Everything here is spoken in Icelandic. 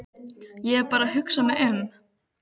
Ég er bara að hugsa mig um.